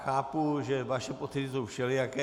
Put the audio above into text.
Chápu, že vaše pocity jsou všelijaké.